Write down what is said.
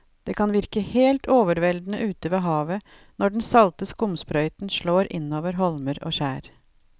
Det kan virke helt overveldende ute ved havet når den salte skumsprøyten slår innover holmer og skjær.